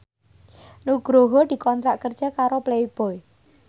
Nugroho dikontrak kerja karo Playboy